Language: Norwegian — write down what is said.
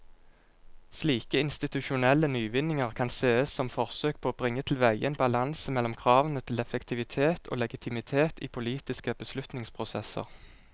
Slike institusjonelle nyvinninger kan sees som forsøk på å bringe tilveie en balanse mellom kravene til effektivitet og legitimitet i politiske beslutningsprosesser.